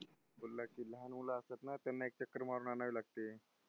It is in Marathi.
बोलला की लहान मुलं असतात ना, त्यांना एक चक्कर मारून आणावी लागते.